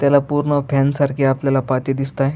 त्याला पूर्ण फॅन सारखी आपल्याला पाती दिसत आहे.